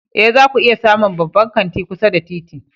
Ee, zaku iya samun babban kanti kusa da titi.